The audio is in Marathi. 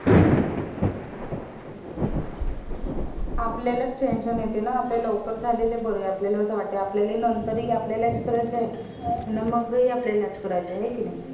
आपल्याला च tension येत ना आपले लवकर झालेले बरे आपल्याला असं वाट आपल्यला हि नंतर हि आपल्यला ला च करायचंय आणि मंग हि आपल्याला च करायचंय हाय कि नाय